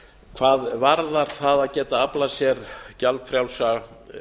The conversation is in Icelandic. hvað varðar það að geta aflað sér gjaldfrjálsra